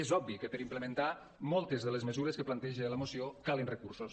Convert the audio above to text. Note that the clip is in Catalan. és obvi que per implementar moltes de les mesures que planteja la moció calen recursos